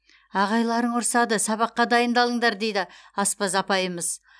ағайларың ұрсады сабаққа дайындалыңдар дейді аспаз апайымыз